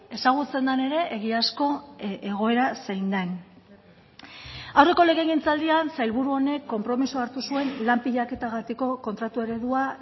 ezagutzen den ere egiazko egoera zein den aurreko legegintzaldian sailburu honek konpromisoa hartu zuen lan pilaketagatiko kontratu eredua